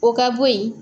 O ka bo yen